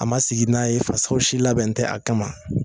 A ma sigi n'a ye fasaw si labɛn tɛ a kama